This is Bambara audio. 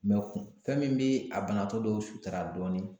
fɛn min bɛ a banatɔ dɔw sutura dɔɔnin